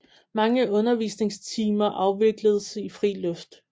Mange undervisningstimer afvikledes i fri luft